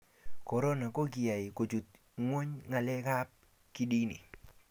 korona ko kikoai kochut nyweny ngalek ab kidini